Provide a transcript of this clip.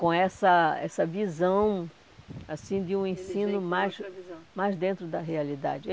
Com essa essa visão assim de um ensino mais mais dentro da realidade.